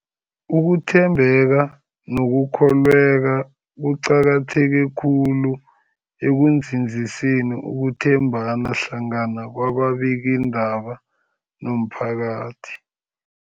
Ukuthembeka nokukholweka kuqakatheke khulu ekunzinziseni ukuthembana hlangana kwababikiindaba nomphakathi.